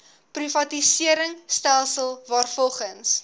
privatisering stelsel waarvolgens